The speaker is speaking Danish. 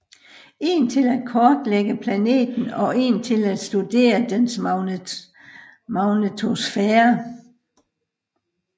En til at kortlægge planeten og en til at studere dens magnetosfære